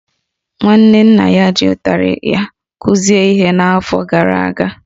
Nwanne nna ya ji ụtarị ya kụzie ihe n’afọ gara aga